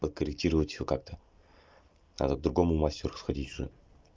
подкорректировать его как-то надо к другому мастеру сходить уже